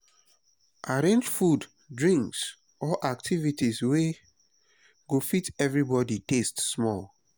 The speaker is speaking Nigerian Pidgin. arrange food drinks or activities wey go fit everybody taste small.